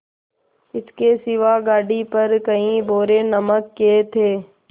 इसके सिवा गाड़ी पर कई बोरे नमक के थे